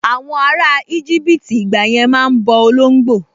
Àwọn ará íjíbítì ìgbàyẹn máa n bọ olóngbò